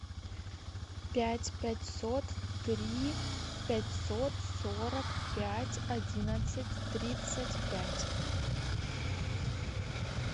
пять пятьсот три пятьсот сорок пять одиннадцать тридцать пять